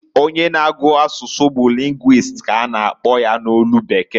Onye na-agu asusu bu linguist ka a na akpọ ya n'olu bekee.